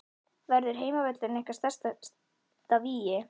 Verður heimavöllurinn ykkar sterkasta vígi?